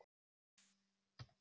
Huginn er í löngu flugi.